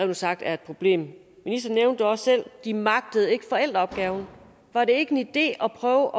ud sagt er et problem ministeren nævnte det også selv de magter ikke forældreopgaven var det ikke en idé at prøve